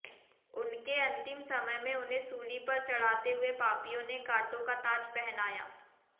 उनके अंतिम समय में उन्हें सूली पर चढ़ाते हुए पापियों ने कांटों का ताज पहनाया